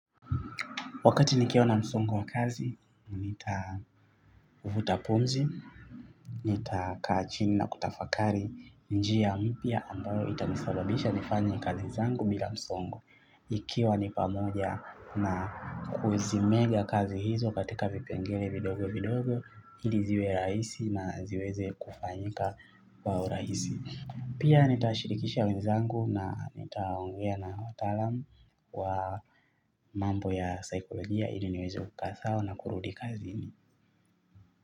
Wakati nikiaona msongo wa kazi, nitavuta punzi, nitakaa chini na kutafakari njia mpya ambayo itanisababisha nifanya kazi zangu bila msongo. Ikiwa nipamoja na kuzimega kazi hizo katika vipengele vidogo vidogo, hili ziwe raisi na ziweze kufanyika wa uraisi. Pia nitashirikisha wenzangu na nitaongea na wataalam wa mambo ya saikolojia ili niwezo kukaa sawa na kurudi kazini.